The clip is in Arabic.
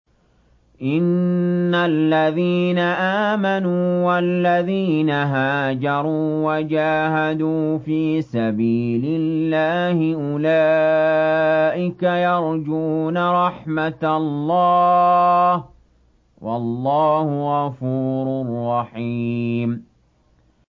إِنَّ الَّذِينَ آمَنُوا وَالَّذِينَ هَاجَرُوا وَجَاهَدُوا فِي سَبِيلِ اللَّهِ أُولَٰئِكَ يَرْجُونَ رَحْمَتَ اللَّهِ ۚ وَاللَّهُ غَفُورٌ رَّحِيمٌ